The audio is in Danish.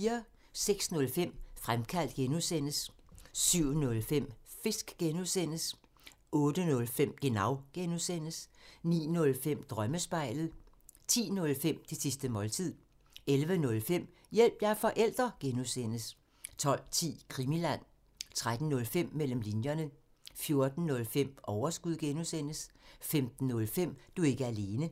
06:05: Fremkaldt (G) 07:05: Fisk (G) 08:05: Genau (G) 09:05: Drømmespejlet 10:05: Det sidste måltid 11:05: Hjælp – jeg er forælder! (G) 12:10: Krimiland 13:05: Mellem linjerne 14:05: Overskud (G) 15:05: Du er ikke alene